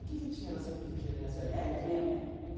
O que que tinha na Santa Efigênia nessa época? Era tinha